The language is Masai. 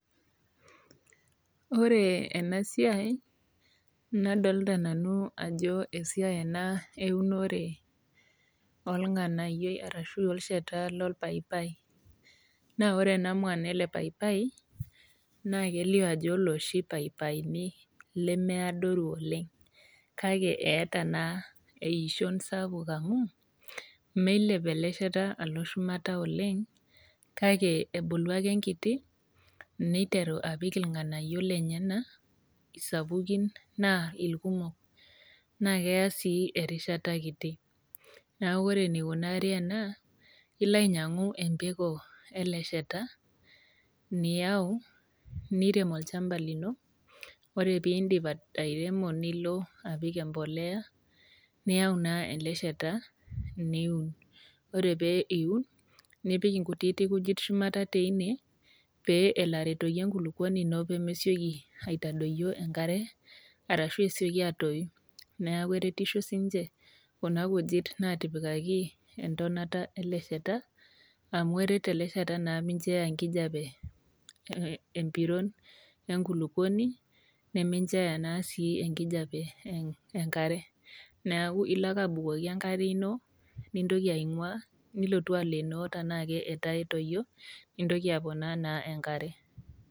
Ore ena siai naa adolita nanu ajo esiai ena eunore oo ilng'anayio arashu olsheta lolpaipai, naa ore en mwan ele paipai, naa kelio ajo ilooshi paipaini lemeadoru ooleng', Kake eata naa eishon sapuk oleng' amu, meilep ele sheta alo shumata oleng', kake ebulu ake enkiti, neiteru apik ilng'anayio lenyena, isapukin naa ilkumok, naa keya sii erishata kiti. Neaku ore eneikunaari ena, ilo ainyang'u empeko ele sheta, niyau, nirem olchamba lino , ore pee indip airemo niipik empolea, niyaau naa ele sheta niun. Ore pee eu, nipik inkutitik kujit shumata teine, pee elo aretoki enkulukuoni ino pee mesioki aitadoyio enkare, arashu esioki atoyu, neaku eretisho sii ninche kuna kujit naatipikaki entonata ele sheta, amu eret ele sheta naa mincho eyaa enkijape empiron enkulukuoni, naa incho eya naa sii enkijape enkare, neaku ilo naake abukoki enkare ino, nintoki aing'ua, nilotu alenoo naa taanake etoyio, nibukoki naa enkare.